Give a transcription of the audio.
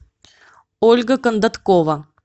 ольга кондаткова